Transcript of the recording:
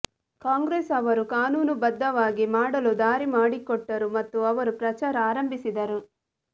ಕಾಂಗ್ರೆಸ್ ಅವರು ಕಾನೂನುಬದ್ಧವಾಗಿ ಮಾಡಲು ದಾರಿ ಮಾಡಿಕೊಟ್ಟರು ಮತ್ತು ಅವರು ಪ್ರಚಾರ ಆರಂಭಿಸಿದರು